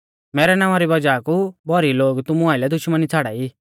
मैरै नावां री वज़ाह कु भौरी लोग तुमु आइलै दुश्मनी छ़ाड़ाई